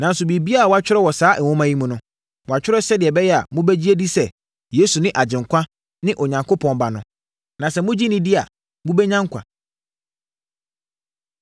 Nanso, biribiara a wɔatwerɛ wɔ saa nwoma yi mu no, wɔatwerɛ sɛdeɛ ɛbɛyɛ a mobɛgye adi sɛ, Yesu ne Agyenkwa, ne Onyankopɔn Ba no; na sɛ mogye no di a, mobɛnya nkwa.